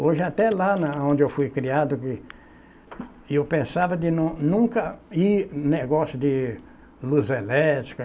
Hoje até lá na onde eu fui criado, eu pensava de nun nunca ir em negócio de luz elétrica.